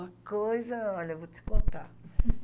A coisa, olha, eu vou te contar.